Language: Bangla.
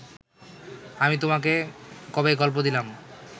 আমি তোমাকে কবে গল্প দিলাম